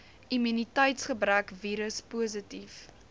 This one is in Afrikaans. immuniteitsgebrek virus positief